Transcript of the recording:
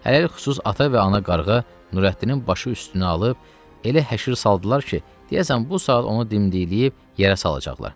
Hərlıxus ata və ana qarğa Nurəddinin başı üstünə alıb, elə həşir saldılar ki, deyəsən bu saat onu dimdikləyib yerə salacaqlar.